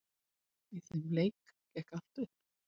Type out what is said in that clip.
Í þeim leik gekk allt upp.